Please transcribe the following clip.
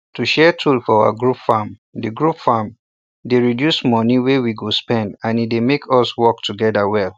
to share tool for our group farm dey group farm dey reduce money wey we go spend and e dey make us work together well